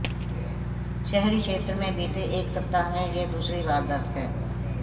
शहरी क्षेत्र में बीते एक सप्ताह में यह दूसरी वारदात है